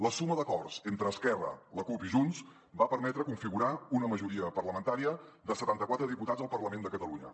la suma d’acords entre esquerra la cup i junts va permetre configurar una majoria parlamentària de setanta quatre diputats al parlament de catalunya